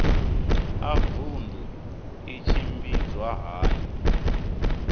a vundu i tshimbidzwa hani